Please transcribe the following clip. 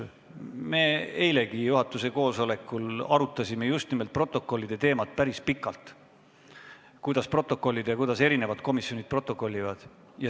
Me eilegi arutasime juhatuse koosolekul päris pikalt just nimelt protokollide teemat, seda, kuidas protokollida ja kuidas erinevad komisjonid protokollivad.